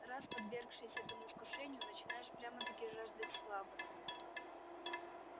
раз подвергшись этому искушению начинаешь прямо-таки жаждать славы